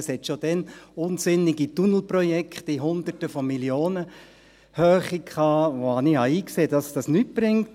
Es gab schon damals unsinnige Tunnelprojekte in der Höhe von Hunderten von Millionen, und ich sah ein, dass das nichts bringt.